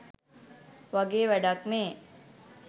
වගේ වැඩක් මේ